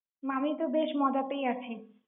আমি তো বেশ মজাতেই আছি।